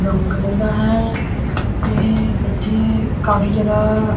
brown colour ਦਾ ਹੈ ਇਹ ਇੱਥੇ ਕਾਫੀ ਜਿਆਦਾ--